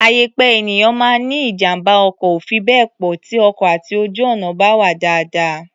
Àyè pé ènìyàn máa ní ijàm̀bá ọkọ̀ ò fi bẹ́ẹ̀ pọ̀ tí ọkọ̀ àti ojú-ọ̀nà bá wà dáadáa.